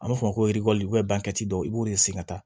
An b'a fɔ o ma ko i b'o de sen ka taa